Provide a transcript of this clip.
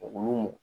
Olu